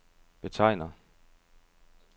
betegner